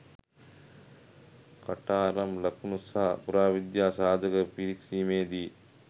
කටාරම් ලකුණු සහ පුරාවිද්‍යා සාධක පිරික්සීමේදි